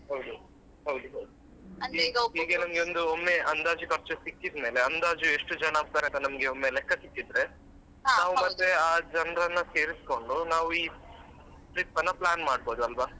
ಹೌದು ಹೌದು ಹೌದು ಹೀಗೆ ನಂಗೊಮ್ಮೆ ಅಂದಾಜು ಖರ್ಚು ಸಿಕ್ಕಿದ್ಮೇಲೆ ಅಂದಾಜು ಎಷ್ಟು ಜನ ಆಗ್ತಾರೆ ಅಂತ ಒಮ್ಮೆ ಲೆಕ್ಕ ಸಿಕ್ಕಿದ್ರೆ ಮತ್ತೆ ಆ ಜನ್ರನ್ನ ಸೇರಿಸ್ಕೊಂಡು ನಾವು ಈ trip ಅನ್ನ plan ಮಾಡ್ಬೋದು ಅಲ್ವ.